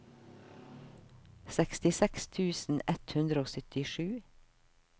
sekstiseks tusen ett hundre og syttisju